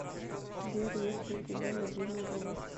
сбер есть ли у тебя любимый робот